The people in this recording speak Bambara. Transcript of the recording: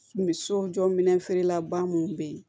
Misiw jɔ minɛnfeerelaba minnu bɛ yen